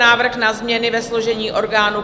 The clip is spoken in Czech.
Návrh na změny ve složení orgánů